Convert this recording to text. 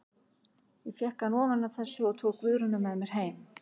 Ég fékk hann ofan af þessu og tók Guðrúnu með mér heim.